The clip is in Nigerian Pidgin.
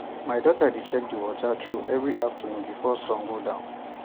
my daughter dey check di water troughs every afternoon before sun go down